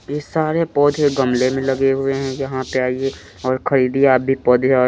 ये सारे पौधे गमले में लगे हुए हैं यहाँ पे आइए और खरीदिए आप भी पौधे और--